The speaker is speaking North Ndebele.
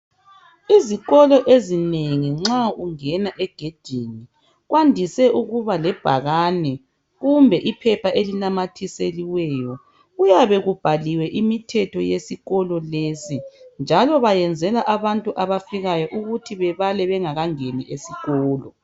Izikolo ezinengi nxa ungena egedini kwandise ukuba lebhakane kumbe iphepha elinamathiselweyo. Kuyabe kubhaliwe imithetho yesikolo lesi njalo benzela abantu abafikayo ukuthi bebale bengakangeni esikolo lesi.